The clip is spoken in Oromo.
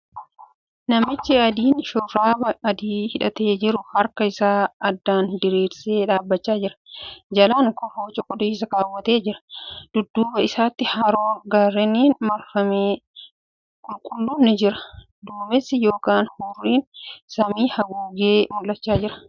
Namichi adiin shurraaba adii hidhatee jiru harka isaa addaan diriirsee dhaabbachaa jira. Jalaan kofoo cuquliisa keewwatee jira. Dudduuba isaatti haroon gaarreeniin marfame qulqulluun ni jira. Duumessi yookiin hurriin samii haguugee mul'achaa jira.